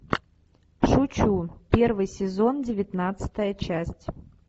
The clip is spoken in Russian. шучу первый сезон девятнадцатая часть